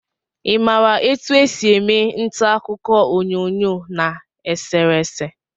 I maara etu e si eme ntaakụkọ onyoonyo na eserese?